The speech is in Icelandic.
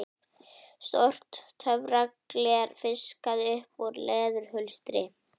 Stórt töfragler fiskað upp úr leðurhulstri